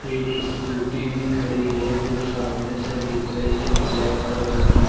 एक स्कूटी भी खड़ी है जो सामने से दिख रही है ब्लैक कलर की।